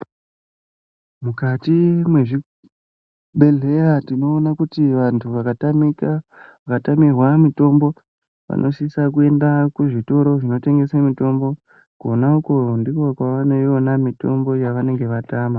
Mukati mwezvibhehleya tinoona kuti vantu vakatamika vakatamirwa mutombo vanosisa kuenda kuzvitoro zvinotengese mutombo konauko ndiko kwavanoina mitombo yavanenge vatama .